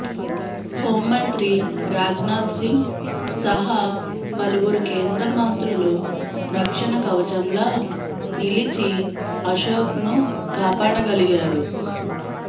home మంత్రి రాజ్నాథ్ సింగ్ సహా పలువురు కేంద్ర మంత్రులు రక్షణ కవచంలా నిలిచి అశోక్ను కాపాడగలిగారు